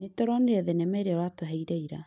Nĩtũronire thenema ĩrĩa ũratũheire ira